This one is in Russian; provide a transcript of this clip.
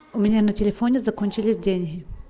у меня на телефоне закончились деньги